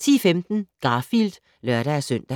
10:15: Garfield (lør-søn)